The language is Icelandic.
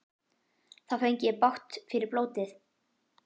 Þá fengi ég bágt fyrir blótið.